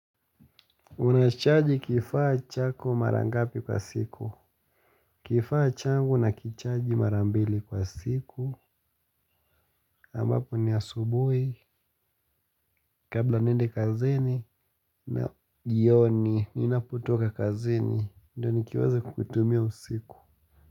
Unacharge kifaa chako mara ngapi kwa siku? Kifaa changu nakicharge mara mbili kwa siku ambapo ni asubui kabla niende kazini na jioni ninapotoka kazini ndo nikiweze kutumia usiku.